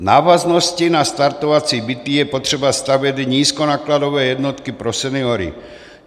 V návaznosti na startovací byty je potřeba stavět nízkonákladové jednotky pro seniory.